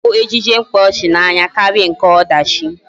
A ka m hụ ejije mkpaọchị n'anya karịa nke ọdachi